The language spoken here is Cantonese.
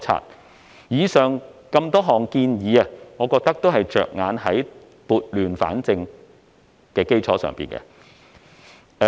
我認為上述多項建議都是着眼於撥亂反正。